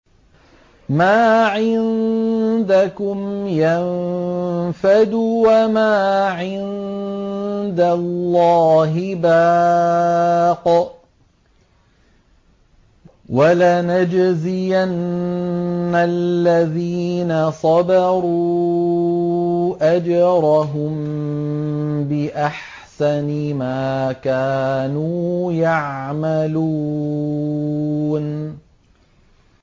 مَا عِندَكُمْ يَنفَدُ ۖ وَمَا عِندَ اللَّهِ بَاقٍ ۗ وَلَنَجْزِيَنَّ الَّذِينَ صَبَرُوا أَجْرَهُم بِأَحْسَنِ مَا كَانُوا يَعْمَلُونَ